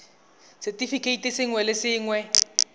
r setefikeiti sengwe le sengwe